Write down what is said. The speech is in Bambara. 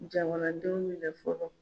Jamanadenw minɛ fɔlɔ.